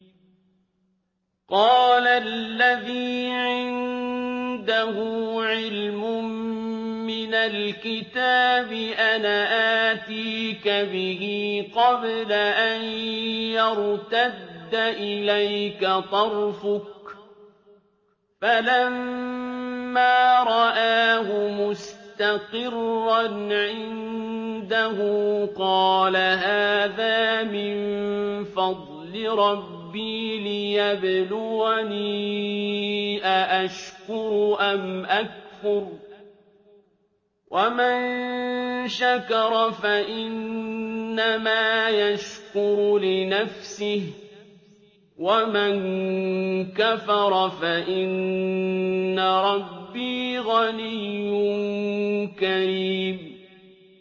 قَالَ الَّذِي عِندَهُ عِلْمٌ مِّنَ الْكِتَابِ أَنَا آتِيكَ بِهِ قَبْلَ أَن يَرْتَدَّ إِلَيْكَ طَرْفُكَ ۚ فَلَمَّا رَآهُ مُسْتَقِرًّا عِندَهُ قَالَ هَٰذَا مِن فَضْلِ رَبِّي لِيَبْلُوَنِي أَأَشْكُرُ أَمْ أَكْفُرُ ۖ وَمَن شَكَرَ فَإِنَّمَا يَشْكُرُ لِنَفْسِهِ ۖ وَمَن كَفَرَ فَإِنَّ رَبِّي غَنِيٌّ كَرِيمٌ